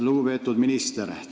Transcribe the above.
Lugupeetud minister!